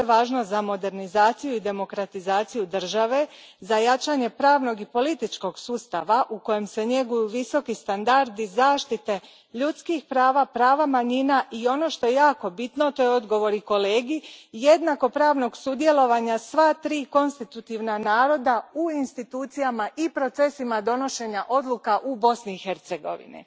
To je važno za modernizaciju i demokratizaciju države, za jačanje pravnog i političkog sustava u kojem se njeguju visoki standardi zaštite ljudskih prava, prava manjina i ono što je jako bitno, to je i odgovor kolegi, jednakopravnog sudjelovanja sva tri konstitutivna naroda u institucijama i procesima donošenja odluka u Bosni i Hercegovini.